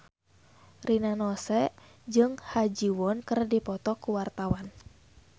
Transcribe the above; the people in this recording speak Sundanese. Rina Nose jeung Ha Ji Won keur dipoto ku wartawan